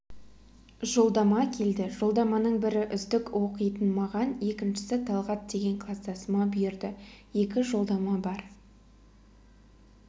жолдама келді жолдаманың бірі үздік оқитын маған екіншісі талғат деген кластасыма бұйырды екі жолдама бар